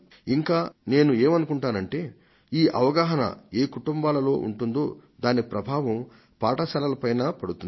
ఇంకా నేనేమనుకుంటానంటే ఈ అవగాహన ఏ కుటుంబాలలో ఉంటుందో దాని ప్రభావం పాఠశాలల పైన పడుతుంది